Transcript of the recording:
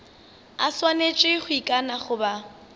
a swanetše go ikana goba